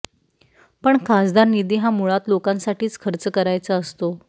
पण खासदार निधी हा मुळात लोकांसाठीच खर्च करायचा असतो